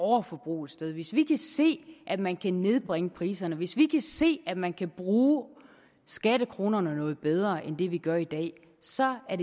overforbrug et sted hvis vi kan se at man kan nedbringe priserne hvis vi kan se at man kan bruge skattekronerne noget bedre end vi gør i dag så er